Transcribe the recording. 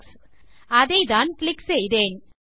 Alex அதைத்தான் click செய்தேன்